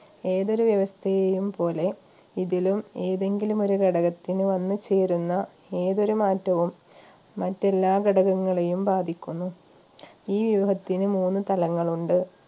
ഏതൊരു വ്യവസ്ഥയെയും പോലെ ഇതിലും ഏതെങ്കിലും ഒരു ഘടകത്തിന് വന്നു ചേരുന്ന ഏതൊരു മാറ്റവും മറ്റെല്ലാ ഘടകങ്ങളെയും ബാധിക്കുന്നു ഈ വ്യൂഹത്തിന് മൂന്ന് തലങ്ങളുണ്ട്